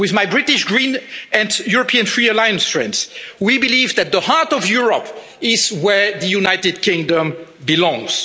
EU. With my British Green and European Free Alliance friends, we believe that the heart of Europe is where the United Kingdom belongs.